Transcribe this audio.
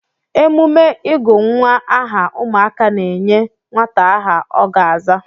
Emume ịgụ nwa aha ụmụaka na-enye nwata aha ọ ga-aza.